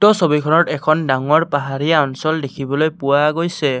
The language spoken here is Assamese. ছবিখনত এখন ডাঙৰ পাহাৰীয়া অঞ্চল দেখিবলৈ পোৱা গৈছে।